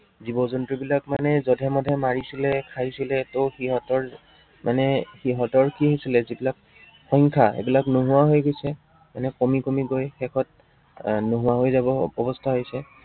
জীৱ-জন্তুবিলাক মানে যধে-মধে মাৰিছিলে, খাইছিলে, ত সিহঁতৰ মানে সিহঁতৰ কি হৈছিলে, যিবিলাক সংখ্য়া সেইবিলাক নোহোৱা হৈ গৈছে, মানে কমি কমি গৈ শেষত আহ নোহোৱা হৈ যাব অৱস্থা হৈছে।